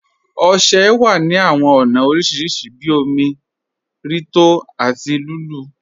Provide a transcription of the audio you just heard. Ọṣẹ wà ní awọn ọna oríṣiríṣì bí òmi, rí tó àti lulú.